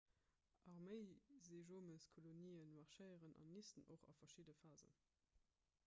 arméiseejomeskolonien marschéieren an nisten och a verschiddene phasen